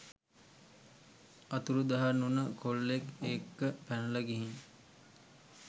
අතුරුදන් වුන කොල්ලෙක් එක්ක පැනල ගිහින්